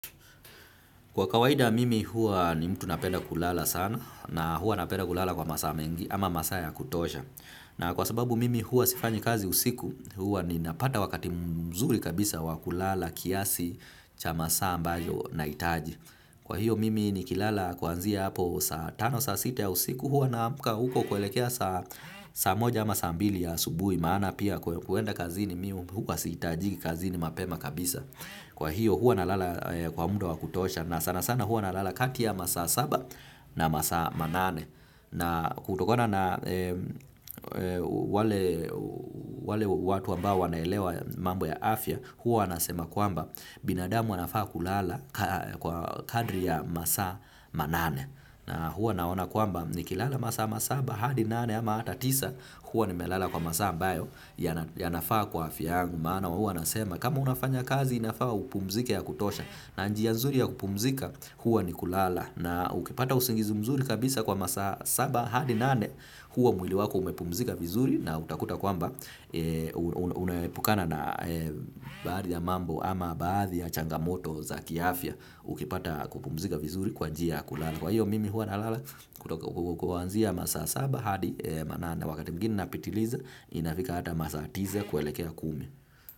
Kwa kawaida mimi huwa ni mtu napenda kulala sana na huwa napenda kulala kwa masaa mengi ama masaa ya kutosha. Na kwa sababu mimi huwa sifanyi kazi usiku huwa ninapata wakati mzuri kabisa wa kulala kiasi cha masaa ambayo nahitaji. Kwa hiyo mimi nikilala kuanzia hapo saa tano saa sita ya usiku huwa naamka huko kuelekea saa moja ama saa mbili ya asubuhi maana pia kuenda kazini mi huwa sihitajiki kazini mapema kabisa. Kwa hiyo huwa nalala kwa muda wa kutosha na sana sana huwa nalala kati ya masaa saba na masaa manane na kutokona na wale watu ambao wanaelewa mambo ya afya huwa nasema kwamba binadamu anafaa kulala kwa kadri ya masaa manane na huwa naona kwamba nikilala masaa masaba hadi nane ama hata tisa huwa nimelala kwa masaa ambayo yanafaa kwa afya yangu maana huwa nasema kama unafanya kazi inafaa upumzike ya kutosha na njia mzuri ya kupumzika huwa ni kulala na ukipata usingizi mzuri kabisa kwa masaa saba hadi nane huwa mwili wako umepumzika vizuri na utakuta kwamba unaepukana na baadhi ya mambo ama baadhi ya changamoto za kiafya ukipata kupumzika vizuri kwa njia ya kulala. Kwa hiyo mimi huwa nalala kutoka kuanzia masaa saba hadi manane wakati mwigine napitiliza inafika hata masaa tisa kuelekea kumi.